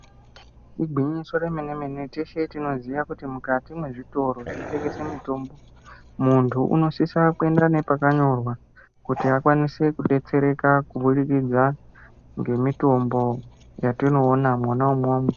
Igwinyiso remene mene teshe tinoziya kuti mukati mwezvitoro zvinotengesa mutombo muntu unosisa kuenda nepakanyora kuti akwanise kudetsereka kubudikidza ngemitombo dzatinoona mwona umwomwo.